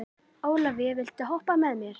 Ólavía, viltu hoppa með mér?